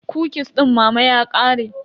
Kukis din mama ya ƙare.